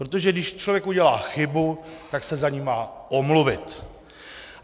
Protože když člověk udělá chybu, tak se za ni má omluvit.